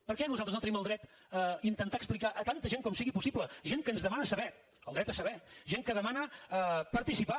per què nosaltres no tenim el dret a intentar explicar a tanta gent com sigui possible gent que ens demana saber el dret a saber gent que demana participar